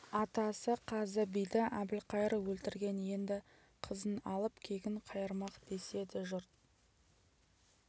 атасы қазы биді әбілқайыр өлтірген енді қызын алып кегін қайырмақ деседі жұрт